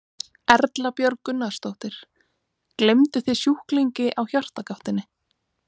Erla Björg Gunnarsdóttir: Gleymduð þið sjúklingi á Hjartagáttinni?